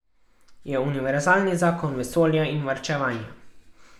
Je univerzalni zakon vesolja in varčevanja.